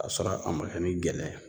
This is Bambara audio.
Kasɔrɔ a ma kɛ ni gɛlɛya ye